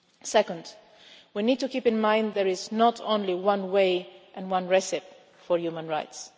Second, we need to keep in mind there is not only one way and one recipe for human rights.